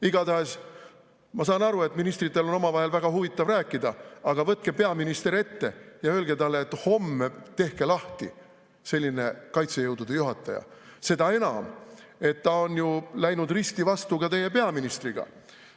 Igatahes, ma saan aru, et ministritel on omavahel väga huvitav rääkida, aga võtke peaminister ette ja öelge talle, et homme tehke lahti selline kaitsejõudude juhataja, seda enam, et ta on ju läinud risti vastu ka teie peaministriga.